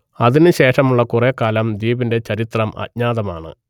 അതിനു ശേഷമുള്ള കുറെ കാലം ദ്വീപിന്റെ ചരിത്രം അജ്ഞാതമാണ്